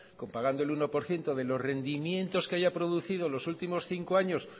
pagando el uno por ciento de los rendimientos que haya producido en los últimos cinco años